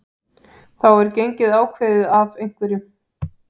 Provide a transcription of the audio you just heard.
þá er gengið ákveðið af einhverjum